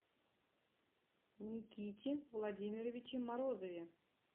никите владимировиче морозове